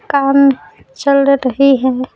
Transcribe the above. काम चल रही है।